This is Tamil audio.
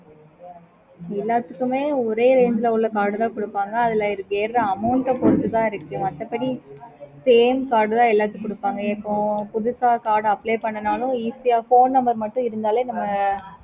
okay mam